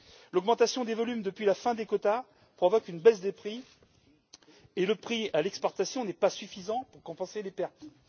L'augmentation des volumes depuis la fin des quotas provoque une baisse des prix, et le prix à l'exportation n'est pas suffisant pour compenser les pertes.